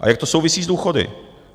A jak to souvisí s důchody?